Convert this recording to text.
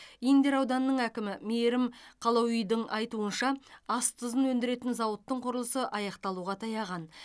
индер ауданының әкімі мейірім қалауидың айтуынша ас тұзын өндіретін зауыттың құрылысы аяқталуға таяған